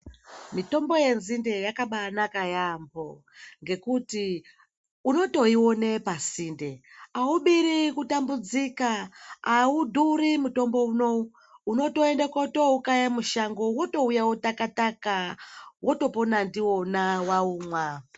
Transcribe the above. Mitombo yenzinde yakabanaka yaambo ngekuti unotoine pasinde, aubiri kutambudzike, hadhuri mutombo unowu unotoenda woukaya musango wotouye wautaka taka wotopona ndiwona waumwa.